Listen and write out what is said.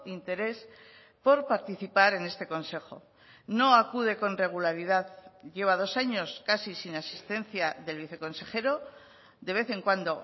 interés por participar en este consejo no acude con regularidad lleva dos años casi sin asistencia del viceconsejero de vez en cuando